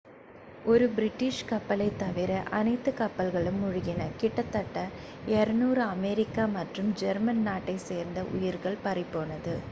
ஒரு பிரிட்டிஷ் கப்பலைத் தவிர அனைத்து கப்பல்களும் மூழ்கின கிட்டத்தட்ட 200 அமெரிக்க மற்றும் ஜெர்மன் நாட்டைச் சேர்ந்த உயிர்கள் பறிபோனது